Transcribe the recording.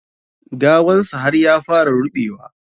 Gawan sa har ya fara ruɓewa.